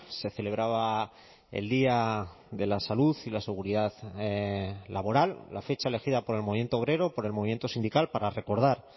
se celebraba el día de la salud y la seguridad laboral la fecha elegida por el movimiento obrero por el movimiento sindical para recordar